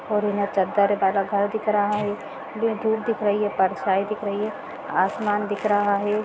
--और यहाँ चद्दर और बड़ा घर दिख रहा है धुप दिख रही है परछाई दिख रही हैं आसमान दिख रहा है।